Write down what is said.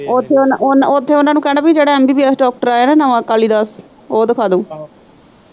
ਉੱਥੇ ਓਨਾਂ, ਓਨਾਂ ਨੂੰ ਕਹਿਣਾ ਜਿਹੜਾ ਐ ਐਮ ਬੀਬੀਐਸ ਡਾਕਟਰ ਆਇਆ ਨਾ ਨਵਾਂ ਕਾਲੀਦਾਸ, ਓਹ ਦਿਖਾ ਦੋ।